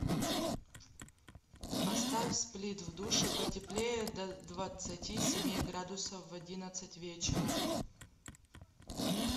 поставь сплит в душе потеплее до двадцати семи градусов в одиннадцать вечера